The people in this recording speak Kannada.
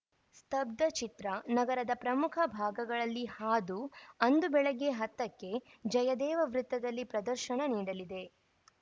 ಸ್ತಬ್ದ ಚಿತ್ರ ನಗರದ ಪ್ರಮುಖ ಭಾಗಗಳಲ್ಲಿ ಹಾದು ಅಂದು ಬೆಳಿಗ್ಗೆ ಹತ್ತ ಕ್ಕೆ ಜಯದೇವ ವೃತ್ತದಲ್ಲಿ ಪ್ರದರ್ಶನ ನೀಡಲಿದೆ